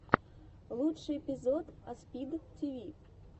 лучший эпизод аспид тиви